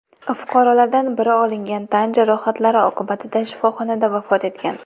Fuqarolardan biri olingan tan jarohatlari oqibatida shifoxonada vafot etgan.